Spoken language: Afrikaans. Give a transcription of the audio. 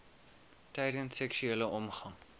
tydens seksuele omgang